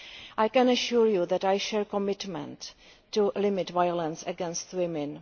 I can assure you that I share your commitment to eliminating violence against women.